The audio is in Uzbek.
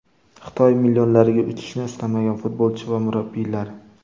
Xitoy millionlariga uchishni istamagan futbolchi va murabbiylar.